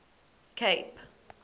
cape